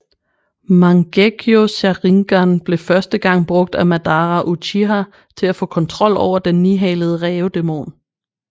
Mangekyo Sharingan blev første gang brugt af Madara Uchiha til at få kontrol over Den Nihalede Rævedæmon